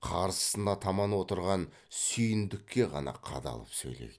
қарсысына таман отырған сүйіндікке ғана қадалып сөйлейді